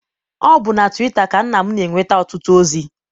Ọ bụ na twita ka nna m na-enweta ọtụtụ ozi.